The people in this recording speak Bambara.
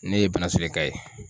Ne ye banansolen ka ye